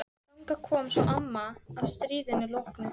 Þangað kom svo amma að stríðinu loknu.